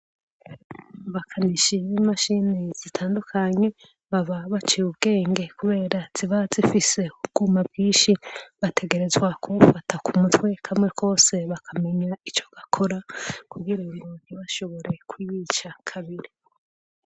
Amakarishi yimashine zitandukanye baba baciye ubwenge kubera ziba zifise ubwuma bwinshi bategerezwa kubufata kumutwe kamwe kose bakamenya ico gakora kugira ubu ntibashobore kubwica kabiri